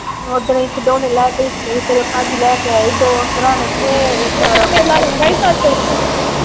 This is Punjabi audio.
ਓਦਣ ਅਸੀਂ ਖਿਡੌਣੇ ਲੈ ਕੇ ਦਿਤੇ ਸੀ। ਤੇਰੇ ਪਾਜੀ ਲੈ ਕੇ ਆਏ ਸੀ ਦੋ ਸਿਰਾਣੇ ਤੇ ਇਕ